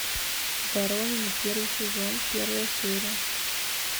воронины первый сезон первая серия